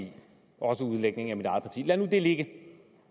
i også udlægningen af mit eget parti lad nu det ligge